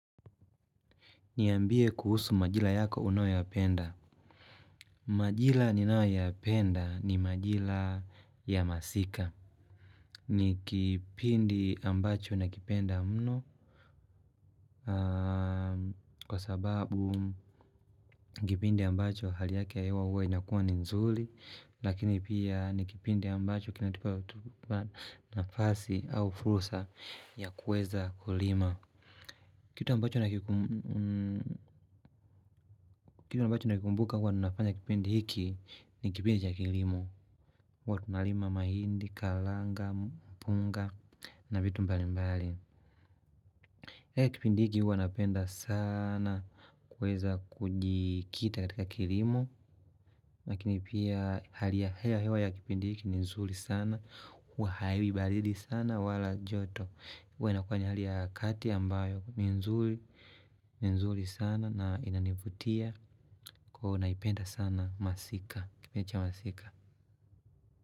Niambie kuhusu majila yako unayoyapenda. Majila ninayoyapenda ni majila ya masika. Ni kipindi ambacho nakipenda mno. Kwa sababu, ni kipindi ambacho hali yake ya hewa huwa inakuwa ni nzuli. Lakini pia, ni kipindi ambacho kinatupa nafasi au fursa ya kuweza kulima. Kitu ambacho nakikumbuka huwa nafanya kipindi hiki ni kipindi cha kilimo. Huwa tunalima mahindi, kalanga, mpunga na vitu mbali mbali. Kipindi hiki huwa napenda sana kuweza kujikita katika kilimo. Lakini pia hali ya hewa ya kipindi hiki ni nzuri sana, huwa haiwi baridi sana wala joto. Huwa inakuwa ni hali ya kati ambayo ni nzuri, ni nzuri sana na inanivutia. Naipenda sana masika, kipindi cha masika.